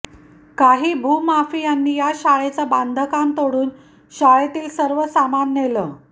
काही भूमाफियांनी या शाळेचं बांधकाम तोडून शाळेतील सर्व सामान नेलं